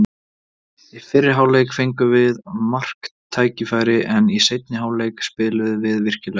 Í fyrri hálfleik fengum við marktækifæri, en í seinni hálfleik spiluðum við virkilega vel.